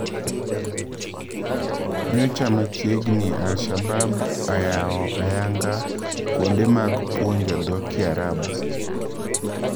Nyocha machiegni Al shaabab ayao ayanga kwonde mag puonjo dho kiarabu.